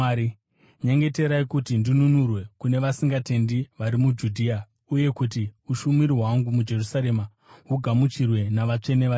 Nyengeterai kuti ndinunurwe kune vasingatendi vari muJudhea uye kuti ushumiri hwangu muJerusarema hugamuchirwe navatsvene variko,